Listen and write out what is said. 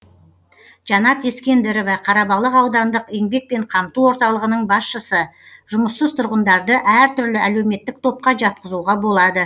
жанат ескендірова қарабалық аудандық еңбекпен қамту орталығының басшысы жұмыссыз тұрғындарды әртүрлі әлеуметтік топқа жатқызуға болады